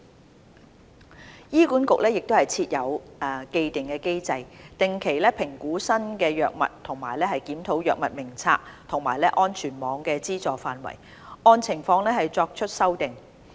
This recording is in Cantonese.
三醫管局設有既定機制，定期評估新藥物和檢討《藥物名冊》和安全網的資助範圍，按情況作出修訂。